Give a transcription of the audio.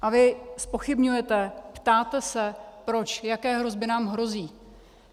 A vy zpochybňujete, ptáte se proč, jaké hrozby nám hrozí.